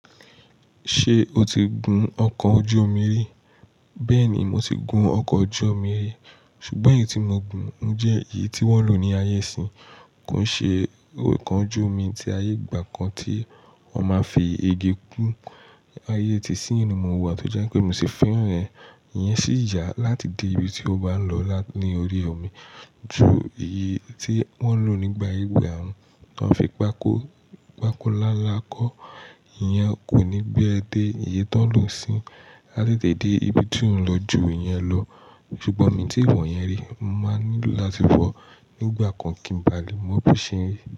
Ṣé o ti gun ọkọ̀ ojú omi rí? Bẹ́ẹ̀ni, mo ti gun ọkọ̀ ojú omi rí. Ṣùgbọ́n èyí tí mo gùn jẹ́ èyí tí wọ́n ń lò ní ayé ìsín. Kò ń ṣe ọkọ̀ ojú omi ti ayé ìgbà kan tí wọ́n máa ń fi igi kún. Ayé tí isinyi ni mo wà tó jẹ́ pé mi ò sì fẹ́ràn rẹ̀. Ìyẹn sì yà láti dé ibi tí o bá ń lọ ní orí omi ju èyí tí wọ́n ń lò nígbà ìgbà wọn, tí wọ́n fi pákó nlánlà kọ́. Ìyẹn kò ní gbé ẹ dé. Èyí tó ń lò isinyi a tètè dé ibi tí ò ń lọ ju ìyẹn lọ. Ṣùgbọ́n mi ò tí ì wọ̀yẹn rí máa nílò láti wọ̀ nígbà kan kí n ba lè mọ bí i ṣe rí.